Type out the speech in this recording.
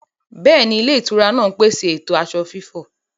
Bẹ́ẹ̀ni, ilé-ìtura náà ń pèsè ètò aṣọ fífọ̀.